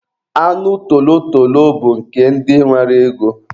Anụ tolotolo bụ nke ndị nwere ego.